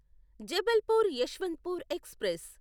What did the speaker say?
Jabalpur Yeshwantpur express